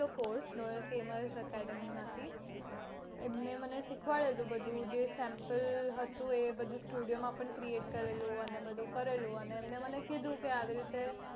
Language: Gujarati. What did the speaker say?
cource એમને મને શીખવાડેલું બધું જે sample હતું એબધું studio create કરેલું એમને મને કિહયેલું આવી રીતે કરવાનું